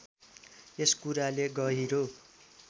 यस कुराले गहिरो